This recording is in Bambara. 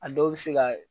A dɔw bɛ se ka